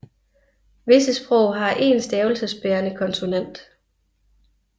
Visse sprog har én stavelsesbærende konsonant